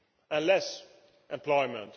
and less employment.